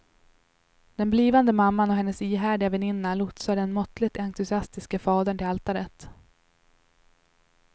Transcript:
Den blivande mamman och hennes ihärdiga väninna lotsar den måttligt entusiastiske fadern till altaret.